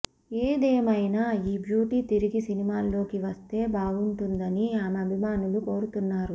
ఏదేమైనా ఈ బ్యూటీ తిరిగి సినిమాల్లోకి వస్తే బాగుంటుందని ఆమె అభిమానులు కోరుతున్నారు